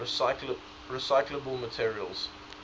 recyclable materials